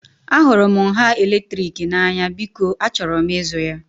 Ahụrụ m nha eletrik n'anya, biko achọrọ m ịzụ ya